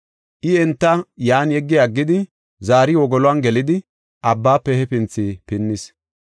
I enta yan yeggi aggidi zaari wogolon gelidi abbaafe hefinthi pinnis.